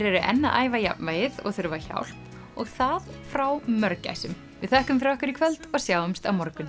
eru enn að æfa jafnvægið og þurfa hjálp og það frá við þökkum fyrir okkur í kvöld og sjáumst á morgun